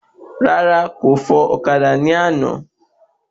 Rárá, kò fò ọ̀kadà ní àná